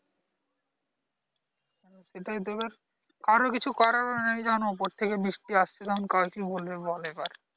সেটাই তো এবার কারোর কিছু করারও নেই কারণ উপর থেকে বৃষ্টি আসছে তখন কাকে কি বলবে বল এবার